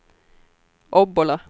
Obbola